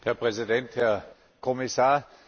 Herr Präsident, Herr Kommissar!